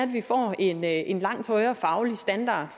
vi får en en langt højere faglig standard